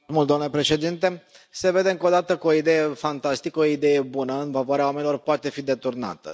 Domnule președinte, se vede încă o dată că o idee fantastică, o idee bună, în favoarea oamenilor, poate fi deturnată.